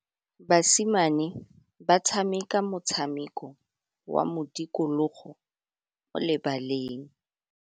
Basimane ba tshameka motshameko wa modikologô mo lebaleng.